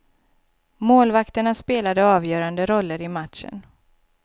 Målvakterna spelade avgörande roller i matchen.